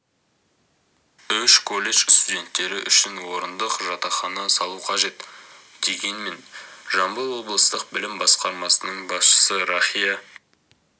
үш колледж студенттері үшін орындық жатақхана салу қажет дегенмен жамбыл облыстық білім басқармасының басшысы рахия